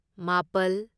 ꯃꯥꯄꯜ